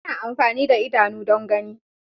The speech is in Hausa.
Ana amfani da idanu don gani.